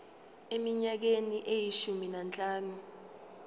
eminyakeni eyishumi nanhlanu